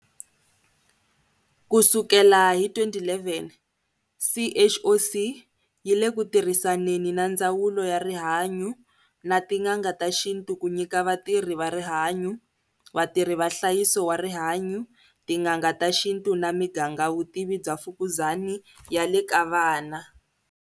Ku sukela hi 2011, CHOC yi le ku tirhisaneni na Ndzawulo ya Rihanyu na tin'anga ta xintu ku nyika vatirhi va rihanyu, vatirhi va nhlayiso wa rihanyu, tin'anga ta xintu na miganga vutivi bya mfukuzani ya le ka vana.